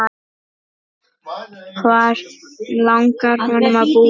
Hvar langar okkur að búa?